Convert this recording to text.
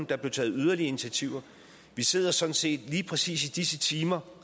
der blev taget yderligere initiativer vi sidder sådan set lige præcis i disse timer